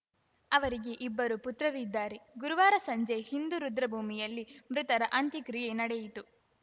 ಅವರಿಗೆ ಇಬ್ಬರು ಪುತ್ರರಿದ್ದಾರೆ ಗುರುವಾರ ಸಂಜೆ ಹಿಂದೂ ರುದ್ರಭೂಮಿಯಲ್ಲಿ ಮೃತರ ಅಂತ್ಯಕ್ರಿಯೆ ನಡೆಯಿತು